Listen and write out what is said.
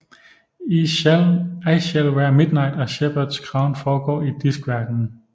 I Shall Wear Midnight og Shepherds crown foregår i Diskverdenen